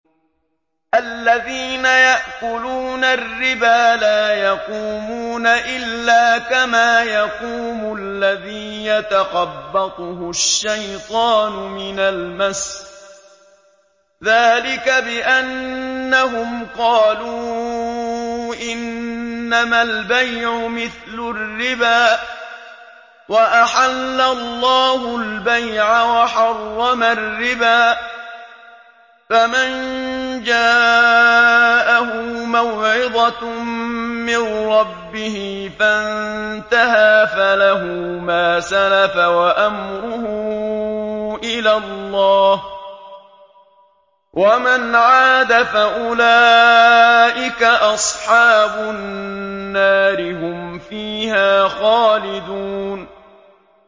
الَّذِينَ يَأْكُلُونَ الرِّبَا لَا يَقُومُونَ إِلَّا كَمَا يَقُومُ الَّذِي يَتَخَبَّطُهُ الشَّيْطَانُ مِنَ الْمَسِّ ۚ ذَٰلِكَ بِأَنَّهُمْ قَالُوا إِنَّمَا الْبَيْعُ مِثْلُ الرِّبَا ۗ وَأَحَلَّ اللَّهُ الْبَيْعَ وَحَرَّمَ الرِّبَا ۚ فَمَن جَاءَهُ مَوْعِظَةٌ مِّن رَّبِّهِ فَانتَهَىٰ فَلَهُ مَا سَلَفَ وَأَمْرُهُ إِلَى اللَّهِ ۖ وَمَنْ عَادَ فَأُولَٰئِكَ أَصْحَابُ النَّارِ ۖ هُمْ فِيهَا خَالِدُونَ